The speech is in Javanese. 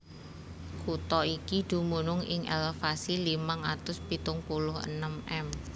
Kutha iki dumunung ing elevasi limang atus pitung puluh enem m